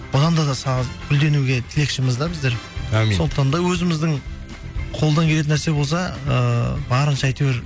гүлденуге тілекшіміз да біздер әумин сондықтан да өзіміздің қолдан келетін нәрсе болса ыыы барынша әйтеуір